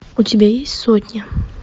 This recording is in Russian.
у тебя есть сотня